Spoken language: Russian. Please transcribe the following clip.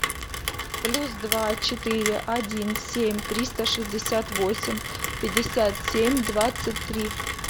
плюс два четыре один семь триста шестьдесят восемь пятьдесят семь двадцать три